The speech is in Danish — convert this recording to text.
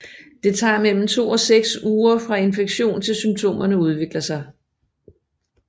Det tager mellem to og seks uger fra infektion til symptomerne udvikler sig